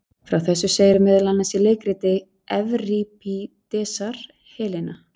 Frá þessu segir meðal annars í leikriti Evripídesar Helena.